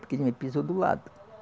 Porque ele me pisou do lado.